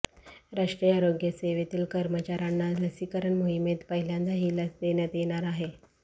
राष्ट्रीय आरोग्य सेवेतील कर्मचाऱ्यांना लसीकरण मोहिमेत पहिल्यांदा ही लस देण्यात येणार आहे